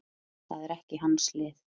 Það er ekki hans lið.